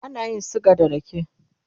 ana yin suga da rake